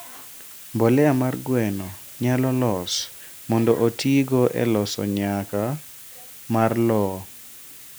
mbolea mar gweno nyalo los mondo otiigo e loso nyak mar lowo